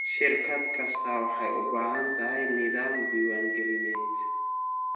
Shirkad kastaa waxay u baahan tahay nidaam diiwaangalineed.